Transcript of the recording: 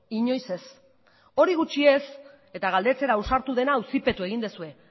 inoiz ez hori gutxi ez eta galdetzera ausartu dena auzipetu egin duzue